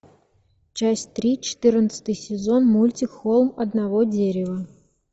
часть три четырнадцатый сезон мультик холм одного дерева